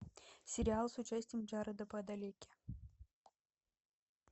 сериал с участием джареда падалеки